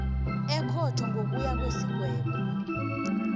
ekhotho ngokuya kwesigaba